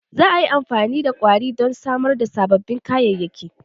Za a yi amfani da ƙwari don samar da sababbin kayayyaki.